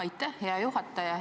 Aitäh, hea juhataja!